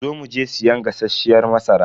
Zo mu je siyan gasasshiyar masara.